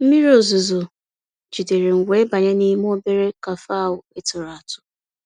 mmírí ọ̀zuzọ̀ jìdéré m wéé bànyé n'ímé òbérè cafe ahụ́ ị̀ tụ̀rụ́ àtụ́.